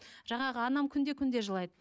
жаңағы анам күнде күнде жылайды